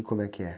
E como é que é?